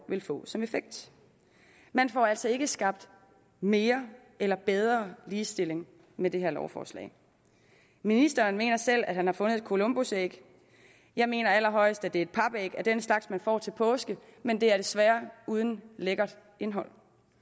vil få som effekt man får altså ikke skabt mere eller bedre ligestilling med det her lovforslag ministeren mener selv at han har fundet et columbusæg jeg mener allerhøjest at det er et papæg af den slags man får til påske men det er desværre uden lækkert indhold